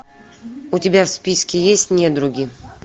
у тебя в списке есть недруги